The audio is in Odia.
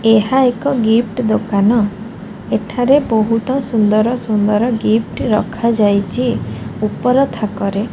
ଏହା ଏକ ଗିଫ୍ଟ ଦୋକାନ୍ ଏଠାରେ ବହୁତ ସୁନ୍ଦର ସୁନ୍ଦର ଗିଫ୍ଟ ରଖା ଯାଇଛି ଉପର ଥାକରେ --